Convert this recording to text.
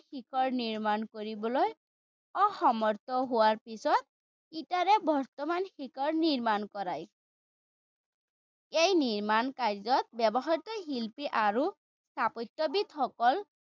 শিখৰ নিৰ্মাণ কৰিবলৈ অসামৰ্থ্য হোৱাৰ পিছত ইটাৰে বৰ্তমান শিখৰ নিৰ্মাণ কৰায়। এই নিৰ্মাণ কাৰ্য্যত ব্যৱহৃত শিল্পী আৰু স্থাপত্যবিদসকল